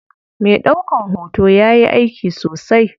Me ɗaukan hoto yayi aiki sosai.